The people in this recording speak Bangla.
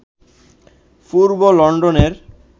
পূর্ব লন্ডনের